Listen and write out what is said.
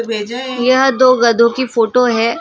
यह दो गधों की फोटो है।